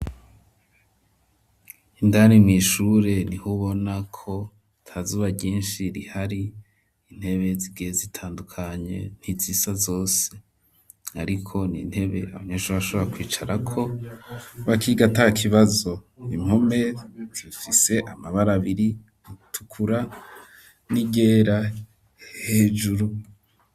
Indani mw'ishure nihubona ko atazuba ryinshi rihari, intebe zigiye zitandukanye ntizisa zose ,ariko ni intebe abanyeshure bashobora kwicarako bakiga atakibazo, impome zifise amabara abiri atukura n'iryera hejuru.